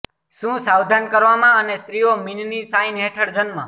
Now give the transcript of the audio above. શું સાવધાન કરવામાં અને સ્ત્રીઓ મીન ની સાઇન હેઠળ જન્મ